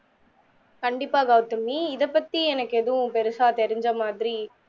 கண்டிப்பா கவுதமி இத பத்தி எனக்கு எதும் பெரிசா தெரிஞ்ச மாதிரி